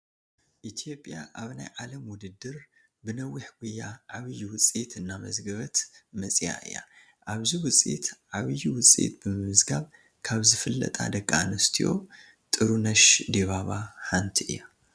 ኢትዮጵያ ኣብ ናይ ዓለም ውድድር ብነዊሕ ጉያ ዓብዪ ውፅኢት እናመዝገበት መፂአ እያ፡፡ ኣብዚ ውፅኢት ዓብዪ ውፅኢት ብምምዝጋብ ካብ ዝፍለጣ ደቂ ኣንስትዮ ጥሩነሽ ዲባባ ሓንቲ እያ፡፡